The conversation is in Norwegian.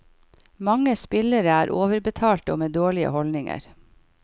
Mange spillere er overbetalte og med dårlige holdninger.